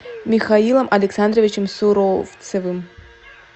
михаилом александровичем суровцевым